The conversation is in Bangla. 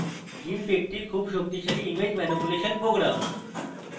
gimp একটি খুব শক্তিশালী image ম্যানিপুলেশন program